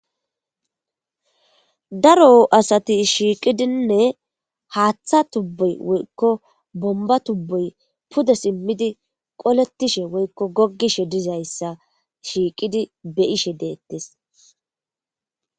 Daro asati shiiqidinne haaththa tubboy woykko bomba tubboy pude simmidi qoletishe woykko goggishe dizayssa shiiqidi beyishe deettis